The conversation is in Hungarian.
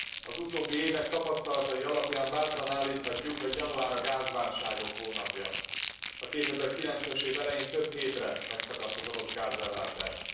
Az utóbbi évek tapasztalatai alapján bátran állíthatjuk, hogy január a gázválságok hónapja. A 2009 es én elején több hétre megszakadt az orosz gázellátás.